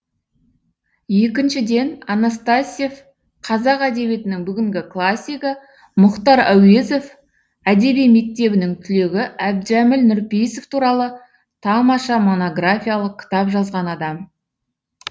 екіншіден анастасьев қазақ әдебиетінің бүгінгі классигі мұхтар әуезов әдеби мектебінің түлегі әбдіжәміл нұрпейісов туралы тамаша монографиялық кітап жазған адам